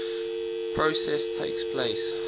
process takes place